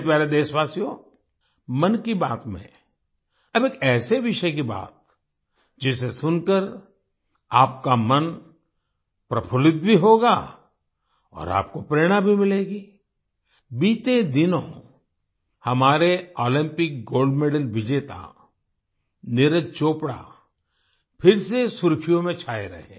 मेरे प्यारे देशवासियो मन की बात में अब एक ऐसे विषय की बात जिसे सुनकर आपका मन प्रफुल्लित भी होगा और आपको प्रेरणा भी मिलेगी आई बीते दिनों हमारे ओलंपिक गोल्ड मेडल विजेता नीरज चोपड़ा फिर से सुर्ख़ियों में छाए रहे